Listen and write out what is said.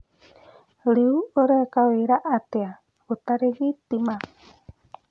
Rĩu ũreka wĩra atĩa gũtarĩ thitima?